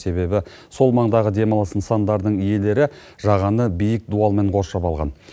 себебі сол маңдағы демалыс нысандарының иелері жағаны биік дуалмен қоршап алған